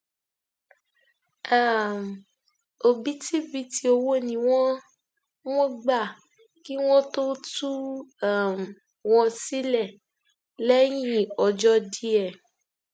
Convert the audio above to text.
um òbítíbitì owó ni wọn wọn gbà kí wọn tóó tú um wọn sílẹ lẹyìn ọjọ díẹ